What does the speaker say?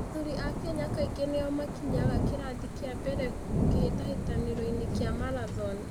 Athuri a Kenya kaingĩ nĩo makinyaga kĩrathi kĩa mbere kĩhĩtahĩtano-inĩ kĩa marathon.